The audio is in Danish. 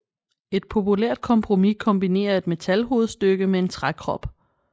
Et populært kompromis kombinerer et metalhovedstykke med en trækrop